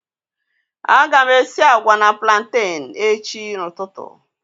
a ga m esi agwa na plantain echi ututu